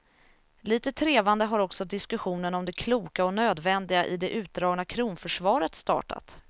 Litet trevande har också diskussionen om det kloka och nödvändiga i det utdragna kronförsvaret startat.